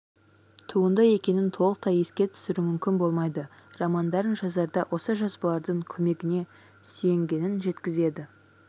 туынды екенін толықтай еске түсіру мүмкін болмайды романдарын жазарда осы жазбалардың көмегіне сүйенгенін жеткізеді